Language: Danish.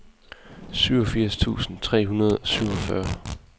syvogfirs tusind tre hundrede og syvogfyrre